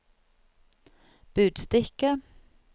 budstikke